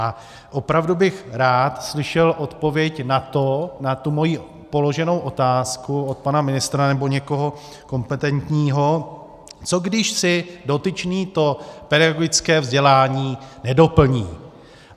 A opravdu bych rád slyšel odpověď na to, na tu moji položenou otázku, od pana ministra nebo někoho kompetentního: co když si dotyčný to pedagogické vzdělání nedoplní?